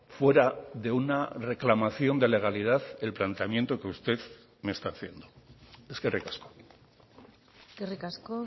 fuera de una reclamación de legalidad el planteamiento que usted me está haciendo eskerrik asko eskerrik asko